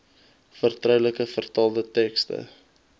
vertroulike vertaalde tekste